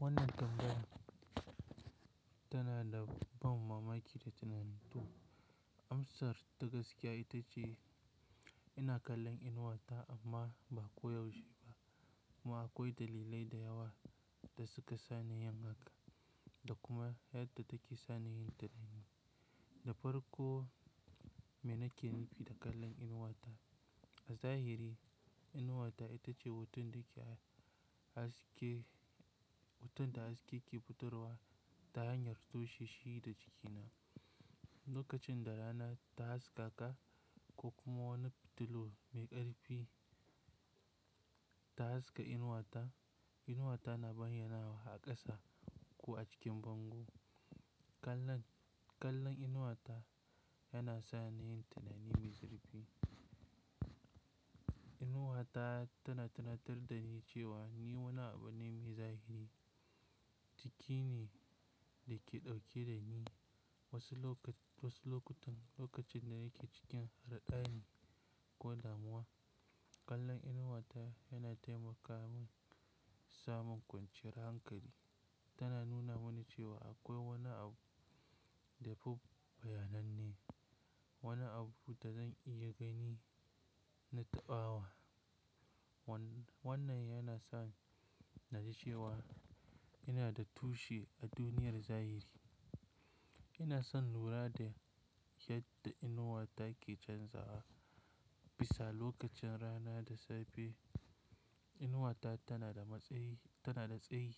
Wannan tambaya tana da ban mamaki da tunani to amsar ta gaskiya ita ce ina kallon inuwa ta amma ba koyaushe ba. Kuma akwai dalilai da yawa da suka sa na yin haka da kuma yadda take sa ni yin tunani. Da farko, mene nake nufi da kallon inuwa ta? A zahiri, inuwa ta ita ce hoton da ke, haske, hoton da haske ke fitarwa ta hanyar tushe shi da jikina. Lokacin da rana ta haskaka ko kuma wani fitilu mai ƙarfi ta haska inuwa ta, inuwa ta na bayyana wa aka sa ko a cikin bango. Kallon, kallon inuwa ta yana sa ni yin tunani mai zurfi. Inuwa ta tana tunatar da ni cewa ni wani abu ne mai zahiri. Ciki ne da ke ɗauke da ni. Wasu lokaci, wasu lokutan lokacin da nake cikin raɗadi ko damuwa, kallon inuwa ta yana taimaka min samun kwanciyar hankali. Tana nuna mini cewa akwai wani abu da fuf bayananne, wani abu da zan iya gani na taɓawa. Wannan yana sa ni na ji cewa ina da tushe a duniyar zahiri. Ina son lura da yadda inuwa ta ke canzawa. Bisa lokacin rana da safe, inuwa ta tana da matsayi, tana da tsayi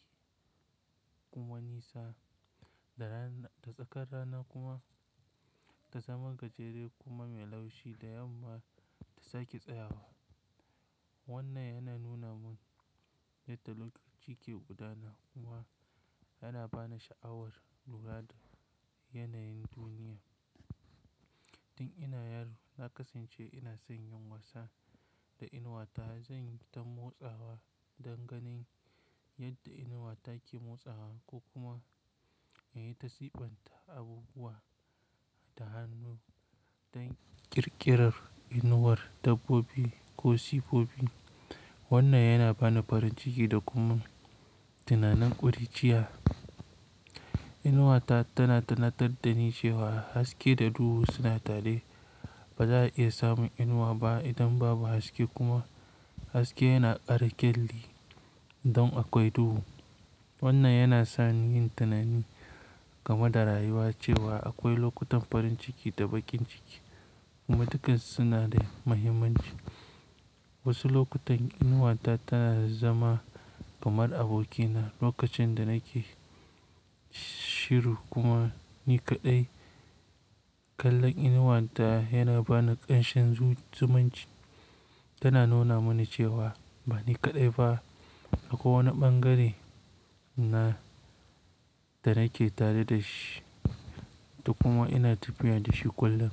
kuma nisa. Da rana, da tsakar rana kuma ta zama gajere kuma mai laushi da yamma ta sake tsayawa. Wannan yana nuna min yadda lokaci ke gudana kuma yana ba ni sha'awar lura da yanayin duniya. Tun ina yaro, na kasance ina son yin wasa da inuwa ta. Zan yi ta motsawa don ganin yadda inuwa ta ke motsawa ko kuma yayi ta sifanta abubuwa da hannu don ƙirƙirar inuwar dabbobi ko siffofi. Wannan yana ba ni farin ciki da kuma tunanin ƙuruciya. Inuwa ta tana tunatar da ni cewa haske da duhu suna tare. Ba za a iya samun inuwa ba idan babu haske kuma haske yana ƙara ƙyalli don akwai duhu. Wannan yana sa ni yin tunani game da rayuwa cewa akwai lokutan farin ciki da bakin ciki kuma duka suna da muhimmanci. Wasu lokutan inuwa ta tana zama kamar abokina lokacin da nake shiru kuma ni kaɗai. Kallon inuwa ta yana ba ni ƙanshin zumunci. Tana nuna mini cewa ba ni kaɗai ba. Akwai wani ɓangare na da nake tare da shi da kuma ina tafiya da shi kullum.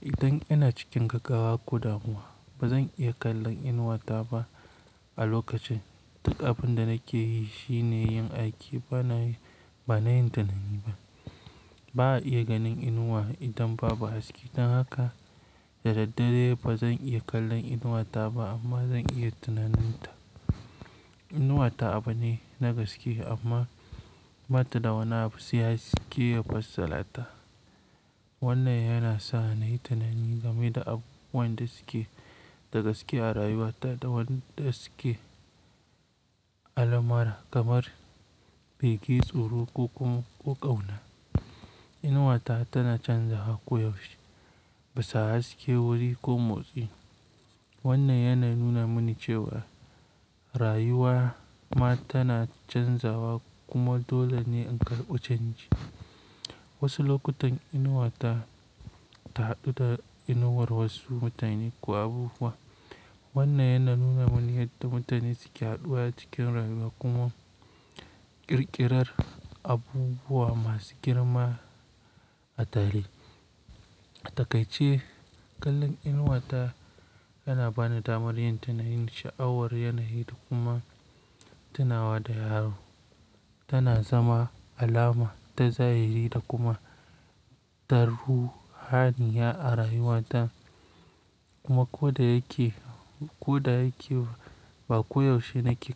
Idan ina cikin gaggawa ko damuwa, ba zan iya kallon inuwa ta ba a lokacin. Duk abin da nake yi shine yin aiki ba na, ba na yin tunani ba. Ba a iya ganin inuwa idan babu haske. Don haka da daddare ba zan iya kallon inuwa ta ba amma zan iya tunanin ta. Inuwa ta abu ne na gaske amma bata da wani abu sai haske yafa sarrata. Wannan yana sa na yi tunani game da abubuwan da suke da gaskiya a rayuwata da wanda suke almara kamar buki, tsoro ko kuma ƙauna. Inuwa ta tana canzawa koyaushe bisa haske, wuri ko motsi. Wannan yana nuna mini cewa rayuwa ma tana canzawa kuma dole ne in karɓi canji. Wasu lokutan inuwa ta, ta haɗu da inuwar wasu mutane ko abubuwa. Wannan yana nuna mini yadda mutane suke haɗuwa cikin rayuwa kuma ƙirƙirar abubuwa masu girma a tare. A takaice, kallon inuwa ta yana ba ni damar yin tunanin sha'awar yanayi da kuma tunawa da yaro. Tana zama alama ta zahiri da kuma ta ruhaniya a rayuwata. Kuma ko da yake, ko da yake ba koyaushe nake.